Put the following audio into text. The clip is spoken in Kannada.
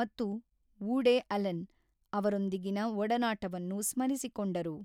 ಮತ್ತು ವೂಡೆ ಅಲೆನ್ ಅವರೊಂದಿಗಿನ ಒಡನಾಟವನ್ನು ಸ್ಮರಿಸಿಕೊಂಡರು.